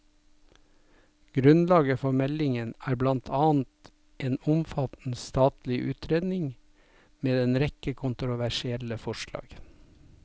Grunnlaget for meldingen er blant annet en omfattende statlig utredningen med en rekke kontroversielle forslag.